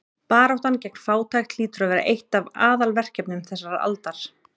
Baráttan gegn fátækt hlýtur að vera eitt af aðalverkefnum þessarar aldar.